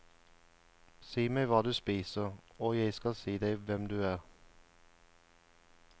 Si meg hva du spiser, og jeg kan si deg hvem du er.